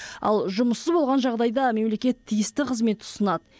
ал жұмыссыз болған жағдайда мемлекет тиісті қызмет ұсынады